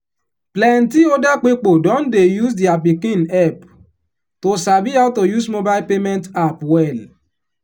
plenti older pipo don dey use their pikin help to sabi how to use mobile payment app well